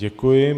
Děkuji.